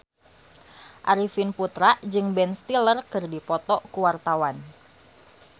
Arifin Putra jeung Ben Stiller keur dipoto ku wartawan